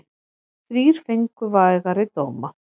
Þrír fengu vægari dóma.